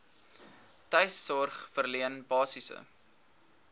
tuissorg verleen basiese